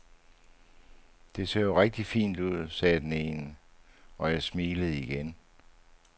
Det ser jo rigtig fint ud, sagde den ene, og jeg smilede igen.